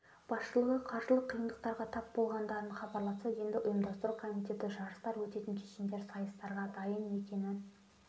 басшылығы қаржылық қиындықтарға тап болғандарын хабарласа енді ұйымдастыру комитеті жарыстар өтетін кешендер сайыстарға дайын екенін